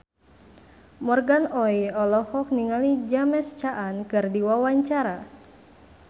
Morgan Oey olohok ningali James Caan keur diwawancara